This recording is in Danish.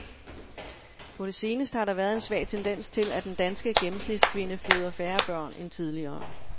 På det seneste har der været en svag tendens til, at den danske gennemsnitskvinde føder færre børn end tidligere.